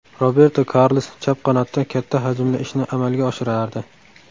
Roberto Karlos chap qanotda katta hajmli ishni amalga oshirardi.